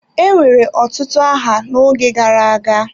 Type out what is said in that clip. Enwere otutu aha n'oge gara aga.